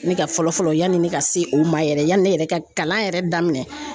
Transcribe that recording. Ne ka fɔlɔ fɔlɔ yanni ne ka se o ma yɛrɛ yanni ne yɛrɛ ka kalan yɛrɛ daminɛ